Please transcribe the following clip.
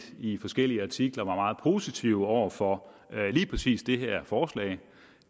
i forskellige artikler var meget positive over for lige præcis det her forslag